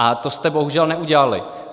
A to jste bohužel neudělali.